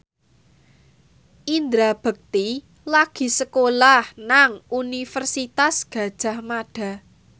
Indra Bekti lagi sekolah nang Universitas Gadjah Mada